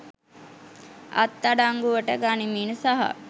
අත් අඩංගුවට ගනිමින් සහ